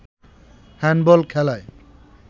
handball খেলায়